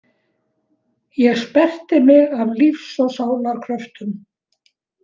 Ég sperrti mig af lífs og sálar kröftum.